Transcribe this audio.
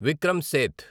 Vikram Seth